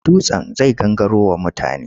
Dutsen zai gangaro wa mutane.